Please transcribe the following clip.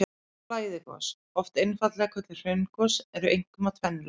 Flæðigos, oft einfaldlega kölluð hraungos, eru einkum af tvennu tagi.